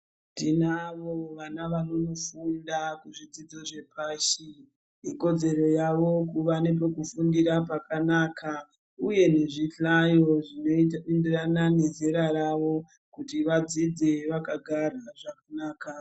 Tinavo vana vanofunda kuzvidzidzo zvepashi ikodzero yavo kuva nepekufundira pakanaka uye zvihlayo zvinoita kuti vana vezera ravo vagare vadzidze zvakanaka.